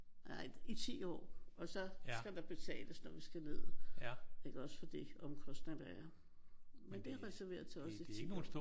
Nej i 10 år og så skal der betales når vi skal ned iggås? For de omkostninger der er. Men det er reserveret til os i 10 år